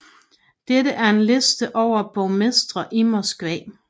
Dette er en liste over borgmestre i Moskva